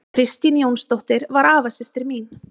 Kristín Jónsdóttir var afasystir mín.